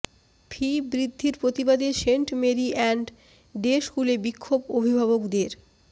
ফি বৃদ্ধির প্রতিবাদে Saint Mary and day স্কুলে বিক্ষোভ অভিভাবকদের